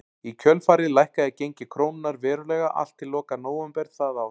Í kjölfarið lækkaði gengi krónunnar verulega allt til loka nóvember það ár.